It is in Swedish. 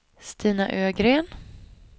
Stina Ögren